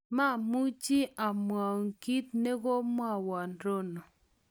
mamuchi amwau kito ne komwowon Rono